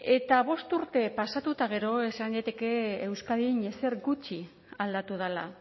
eta bost urte pasatu eta gero esan daiteke euskadin ezer gutxi aldatu dela